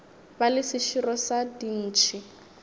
ba le seširo sa dintšhi